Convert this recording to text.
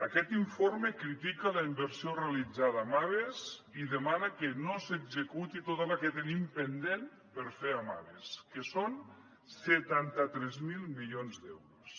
aquest informe critica la inversió realitzada en aves i demana que no s’executi tota la que tenim pendent per fer en aves que són setanta tres mil milions d’euros